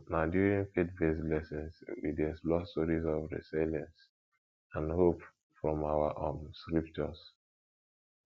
um na during faithbased lessons we dey explore stories of resilience and hope from our um scriptures